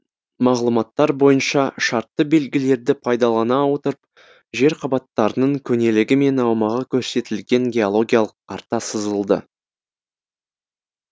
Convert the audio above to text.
мағлұматтар бойынша шартты белгілерді пайдалана отырып жер қабаттарының көнелігі мен аумағы көрсетілген геологиялық карта сызылды